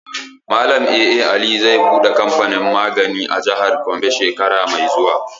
Malam A.A Aliyu zai buɗe kamfanin magani a jihar Gombe shekara mai zuwa.